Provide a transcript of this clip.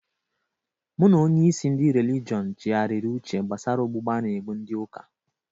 Mụ n'onye isi ndị relijiọn chigharịrị uche gbasara ogbugbu a na-gbu ndị ụka.